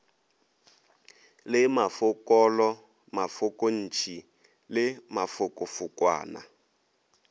le mafokonolo mafokontši le mafokofokwana